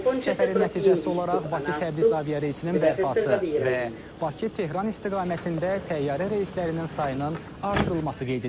Səfərin nəticəsi olaraq Bakı-Təbriz aviareysinin bərpası və Bakı-Tehran istiqamətində təyyarə reyslərinin sayının artırılması qeyd edilib.